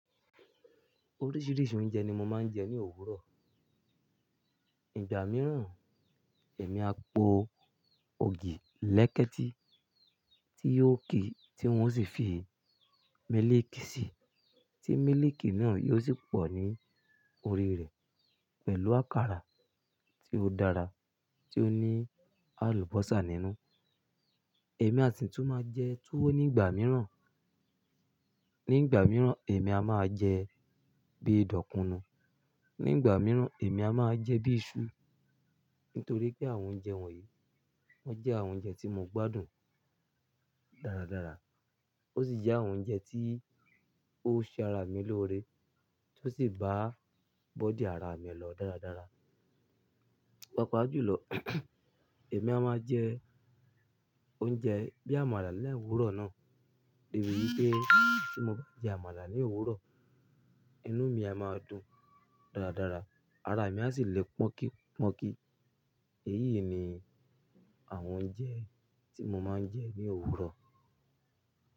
Oríṣìíríṣìí oúnjẹ ni mo máa ń jẹ ní òwúrọ̀. Ìgbà mìíràn, èmi á po ògì lẹ́kẹ́ti tí yóò kì í tí wọ́n sì fi mílíìkì sí, tí mílíìkì náà yóò sì pọ̀ ní orí rẹ̀ pẹ̀lú àkàrà tí ó dára tí ó ní àlùbọ́sà nínú. Èmi àsi tún máa jẹ túwó ní ìgbà mìíràn. Ní ìgbà mìíràn èmi a máa jẹ bíi dòkùnù. Ní ìgbà mìíràn èmi a máa jẹ bíi iṣu. Nítorí pé àwọn oúnjẹ wọ̀nyí wọ́n jẹ́ àwọn oúnjẹ tí mo gbádùn dáradára. Ó sì jẹ́ àwọn oúnjẹ tí ó ṣe ara mi lóore tí ó sì bá bọ́dì ara mi lọ dáradára. Papajùlọ èmi a máa jẹ oúnjẹ bíi àmàlà lẹ́ òwúrọ̀ náà. Èmi rí i pé tí mo bá jẹ àmàlà ní òwúrọ̀, inú mi a máa dùn dáradára, ara mi a sì le pọ́n kí pọ́n kí. Èyí ni àwọn oúnjẹ tí mo máa ń jẹ ní òwúrọ̀.